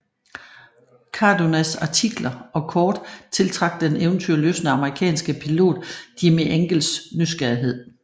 Cardonas artikler og kort tiltrak den eventyrlystne amerikanske pilot Jimmie Angels nysgerrighed